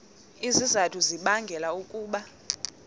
izizathu ezibangela ukuba